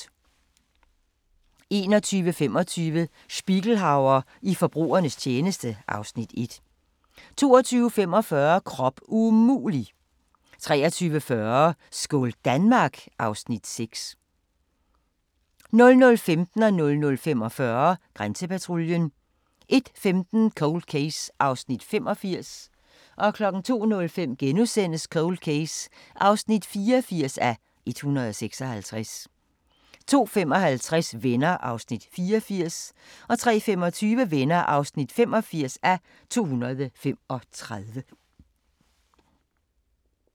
21:25: Spiegelhauer i forbrugernes tjeneste (Afs. 1) 22:45: Krop umulig! 23:40: Skål Danmark! (Afs. 6) 00:15: Grænsepatruljen 00:45: Grænsepatruljen 01:15: Cold Case (85:156) 02:05: Cold Case (84:156)* 02:55: Venner (84:235) 03:25: Venner (85:235)